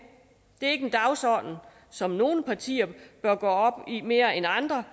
det er ikke en dagsorden som nogle partier mere end andre